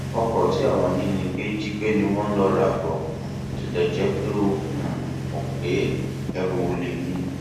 ọkọ tí àwọn ajínigbé jí gbé ni wọn lọ rà bó um tilẹ jẹ pé ó um mọ pé ẹrù olè ni